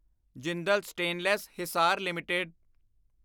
Jindal stainless Hisar LTD